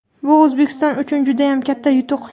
Bu O‘zbekiston uchun judayam katta yutuq.